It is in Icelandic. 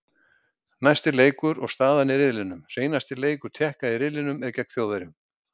Næsti leikur og staðan í riðlinum: Seinasti leikur Tékka riðlinum er gegn Þjóðverjum.